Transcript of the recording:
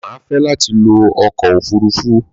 Má fẹ lati lo ọkọ òfurufú